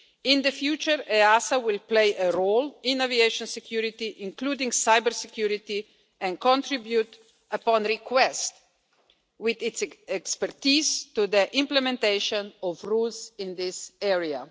In the future, EASA will play a role in aviation security, including cybersecurity, and contribute upon request with its expertise to the implementation of rules in this area.